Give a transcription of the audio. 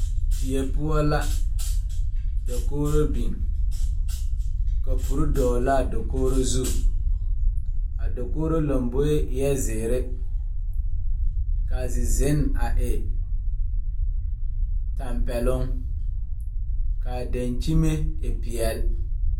Die poɔ la dakogro biŋ kapure dɔglaa dokogro zu a dokogro lomboe eɛɛ zeere kaa zizenne a e tampɛloŋ kaa dankyime e pelaae.